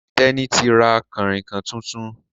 Teni tí ra Kànrìnkàn títún